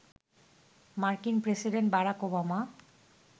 মার্কিন president Barack Obama